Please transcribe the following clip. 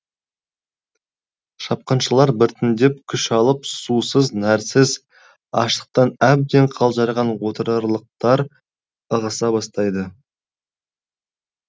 шапқыншылар біртіндеп күш алып сусыз нәрсіз аштықтан әбден қалжыраған отырарлықтар ығыса бастайды